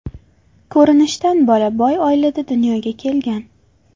Ko‘rinishdan bola boy oilada dunyoga kelgan.